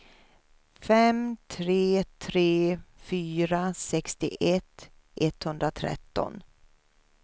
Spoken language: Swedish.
fem tre tre fyra sextioett etthundratretton